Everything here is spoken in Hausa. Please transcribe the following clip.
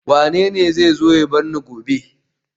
Wanene zai zo ya bar ni gobe